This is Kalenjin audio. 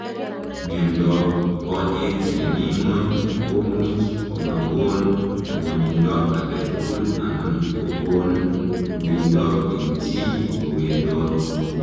Miondoop konyeek nemii ngony komuuch komagoon ngwanindoo agee tugul anan kokoon uindoo eng chii kowendoot